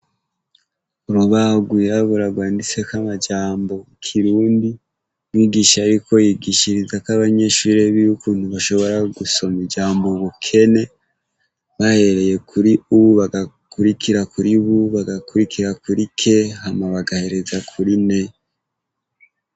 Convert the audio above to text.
Urubahu rwirabura rwanditseko amajambo ikirundi mwigishe ariko yigishirizako abanyeshuri biwe ukuntu bashobora gusoma ijambo ubukene bahereye kuri u bagakurikira kuri bu bagakurikira kuri ke hama bagahereza kuri ne.